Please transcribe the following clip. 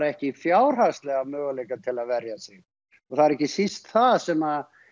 ekki fjárhagslega möguleika til að verja sig og það er ekki síst það sem